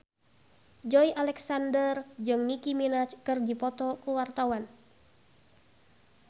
Joey Alexander jeung Nicky Minaj keur dipoto ku wartawan